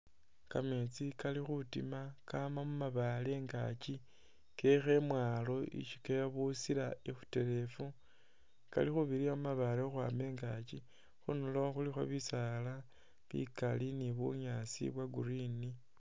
Kameetsi kali khutiima kama mu mabaale ingaaki keekha imwaalo isi kebusila ikhuterefu, kali khubirira mu mabaale khukhwaama ingaaki. Khundulo khulikho bisaala bikaali ni bunyaasi bwa green.